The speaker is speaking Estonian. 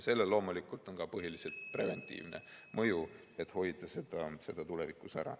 Sellel on loomulikult ka põhiliselt preventiivne mõju, et hoida sellist asja tulevikus ära.